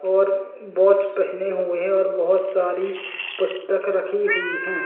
और वाच पहने हुए है और बोहोत सारी पुस्तक रखी हुई हैं।